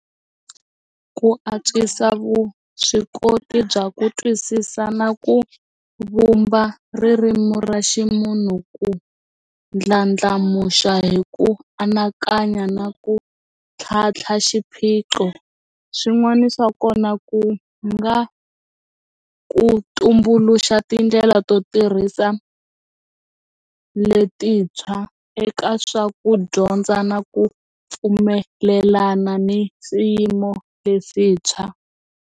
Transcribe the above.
Ku antswisa vuswikoti bya ku twisisa na ku vumba ririmi ra ximunhu ku ndlandlamuxa hi ku anakanya na ku tlhantlha xiphiqo swin'wana swa kona ku nga ku tumbuluxa tindlela to tirhisa letintshwa eka swa ku dyondza na ku pfumelelana ni swiyimo leswintshwa.